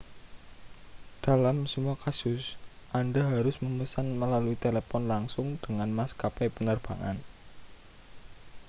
dalam semua kasus anda harus memesan melalui telepon langsung dengan maskapai penerbangan